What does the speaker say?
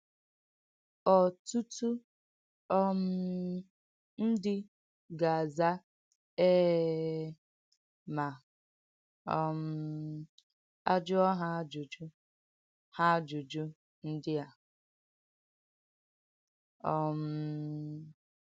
Ọ̀tútù um ndí gà-àzà eéé mà um à jùọ̀ hà àjùjú hà àjùjú ndí á. um